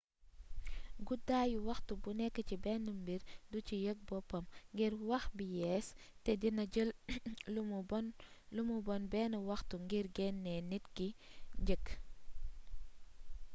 guddaayu waxtu bu nékk ci bénn mbir du ci yég boppam ngir wax bi yéés té dina jël lumu bonn bénn waxtu ngir genné nit ki njëkk